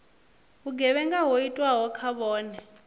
vhugevhenga ho itwaho kha vhone